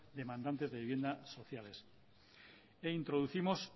demandantes de vivienda sociales e introducimos